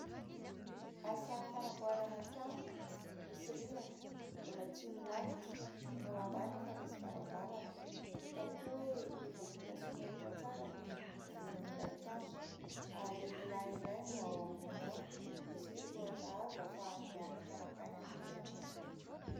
Asa fanamboarana trano misy rihana mbola tsy milalotra. Ny ao ambany efa misy varavarana. Hita koa hoe efa vita simenitra tsara ny zoron'ilay trano ary lehilahy iray no ao ambony ao. Misy tohatra hazo ahafahany miakatra makany amin'ny rihana anỳ.